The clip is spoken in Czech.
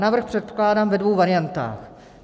Návrh předkládám ve dvou variantách.